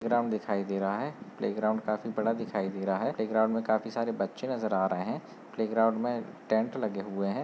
Ground दिखाई दे रहा है प्ले ग्राउंड काफी बड़ा दिखाई दे रहा है प्ले ग्राउंड में काफी सारे बच्चे नजर आ रहे हैं प्ले ग्राउंड में टेंट लगे हुए हैं।